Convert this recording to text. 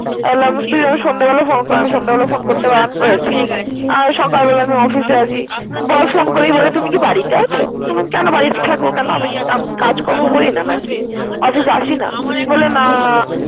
আমি বললাম তুই আমায় সন্ধ্য বেলায় ফোন করিস। সন্ধে বেলায় ফোন করতে বারণ করেছি? সকাল বেলা আমি অফিসে আছি। বস ফোন করেই বলে তুমি কি বাড়ীতে আছো? বল্লাম কেন বাড়ীতে থাকব কেন আমি কি কাজ করি না? অফিসে আসি না? বললো না।